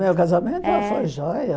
O meu casamento É foi joia.